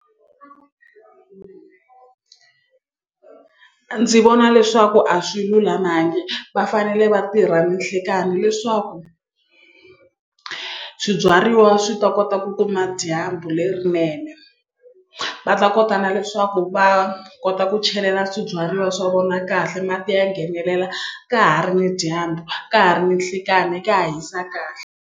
Ndzi vona leswaku a swi lulamangi va fanele va tirha ni nhlikani leswaku swibyariwa swi ta kota ku kuma dyambu lerinene va ta kota na leswaku va kota ku chelela swibyariwa swa vona kahle mati ya nghenelela ka ha ri ni dyambu ka ha ri ni nhlikani ka ha hisa kahle.